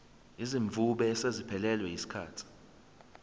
izimvume eseziphelelwe yisikhathi